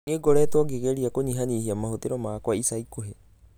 Nĩ ngoretwo ngĩgeria kũnyihanyihia mahũthĩro makwa ica ikuhĩ